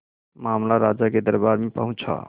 मामला राजा के दरबार में पहुंचा